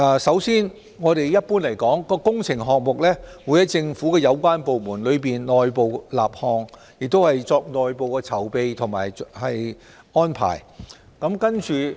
首先，一般來說，工程項目會由政府有關部門立項，並作內部籌備和安排。